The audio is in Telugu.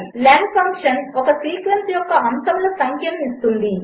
lenఫంక్షన్ఒకసీక్వెన్స్యొక్కఅంశములసంఖ్యనుఇస్తుంది